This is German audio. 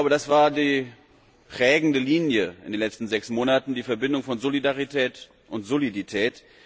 Das war die prägende Linie in den letzten sechs Monaten die Verbindung von Solidarität und Solidität.